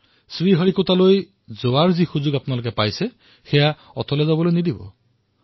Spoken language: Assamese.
আপোনালোকে শ্ৰীহৰিকোটালৈ যোৱাৰ সি সুযোগ পাইছে সেয়া কোনো পৰিস্থিতিতেই নেহেৰুৱাব